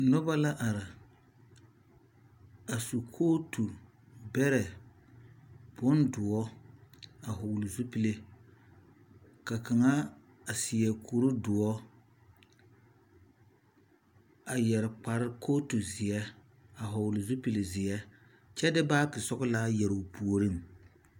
Noba la are, a su kootu beɛre beɛre bondoɔre a vɔgeli zupili ka kaŋ seɛ kur doɔre a yɛre kootu zeɛ. a vɔgeli zupili zeɛ kyɛ de baage yɛre o puoriŋ.